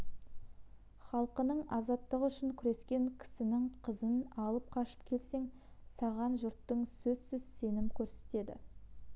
халқының азаттығы үшін күрескен кісінің қызын алып қашып келсең саған жұртың сөзсіз сенім көрсетеді